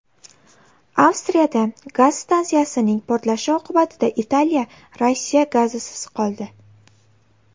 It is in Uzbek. Avstriyada gaz stansiyasining portlashi oqibatida Italiya Rossiya gazisiz qoldi.